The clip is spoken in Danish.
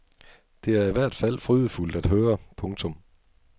Det er i hvert fald frydefuldt at høre. punktum